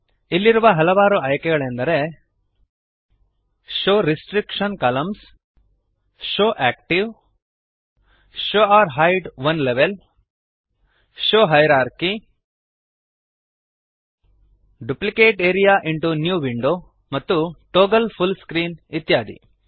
ಇಲ್ಲಿರುವ ಹಲವಾರು ಆಯ್ಕೆಗಳೆಂದರೆ show restriction columns show active show hide one level show hierarchy duplicate area into new window ಮತ್ತು toggle full screen ಇತ್ಯಾದಿ